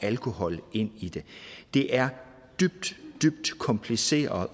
alkohol ind i det det er dybt dybt kompliceret